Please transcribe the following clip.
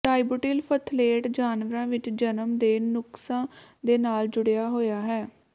dibutyl phthalate ਜਾਨਵਰਾਂ ਵਿੱਚ ਜਨਮ ਦੇ ਨੁਕਸਾਂ ਦੇ ਨਾਲ ਜੁੜਿਆ ਹੋਇਆ ਹੈ